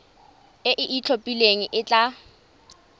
e e itlhophileng e tla